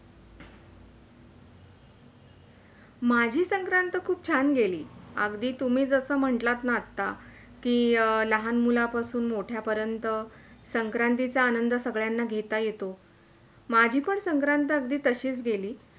माझी संक्रांत खूप छान गेली अगदी तुम्ही जसं म्हंटलात न आता कि, लहान मुलांपासून मोठ्या पर्यन्त संक्रांतीचा आनंद सगळ्यांना घेता येतो. माझी पण संक्रांत अगदी तशीच गेली